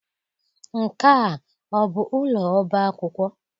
Nke a ọ bụ ụlọ ọba akwụkwọ?